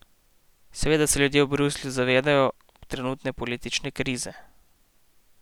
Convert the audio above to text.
Seveda se ljudje v Bruslju zavedajo trenutne politične krize.